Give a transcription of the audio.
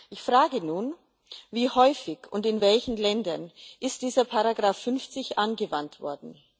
Ich frage nun Wie häufig und in welchen Ländern ist dieser Paragraph 50 angewandt worden?